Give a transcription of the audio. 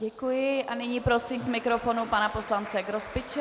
Děkuji a nyní prosím k mikrofonu pana poslance Grospiče.